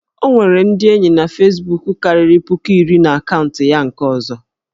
O nwere ndị enyi fesbuku karịrị puku iri na akaụntụ ya nke ọzọ